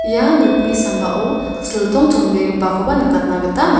ia nokni sambao siltong chonbegipakoba nikatna gita ma--